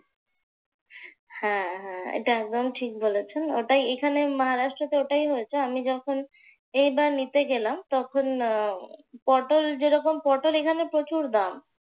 হ্যাঁ হ্যাঁ এটা একদম ঠিক বলেছেন। ওটাই এখানে মহারাষ্ট্রতে ওটাই হয়েছে। আমি যখন নিতে গেলাম। পটল যেরকম পটল এখানে প্রচুর দাম।